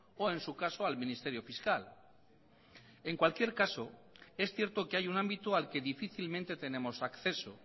o en su caso al ministerio fiscal en cualquier caso es cierto que hay un ámbito al que difícilmente tenemos acceso